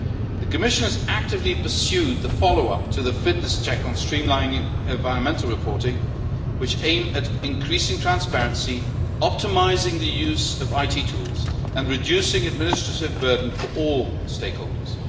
The Commission has actively pursued the follow up to the fitness check on streamlining environmental reporting which aims at increasing transparency, optimising the use of IT tools and reducing the administrative burden for all stakeholders.